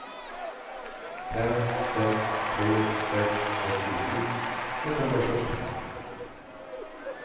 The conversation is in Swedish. fem sex tre sex åttiosju etthundrasjuttiofem